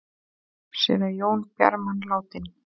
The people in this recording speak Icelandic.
Séra Jón Bjarman látinn